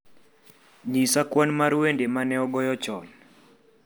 nyis kwan mar wende ma ne ogoye chon